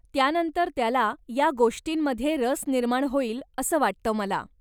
त्यानंतर त्याला या गोष्टींमध्ये रस निर्माण होईल असं वाटतं मला.